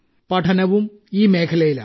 പഠനവും ഈ മേഖലയിലാണ്